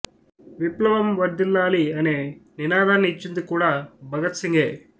విప్లవం వర్ధిల్లాలి అనే నినాదాన్ని ఇచ్చింది కూడా భగత్ సింగే